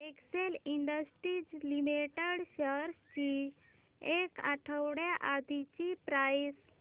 Excel Industries Limited shares ची एक आठवड्या आधीची प्राइस